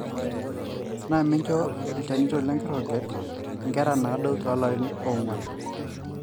na mincho ilchanito lenkiroket nkera nadou tolarin ongwan